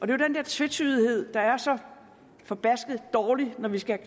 det er den der tvetydighed der er så forbasket dårlig når vi skal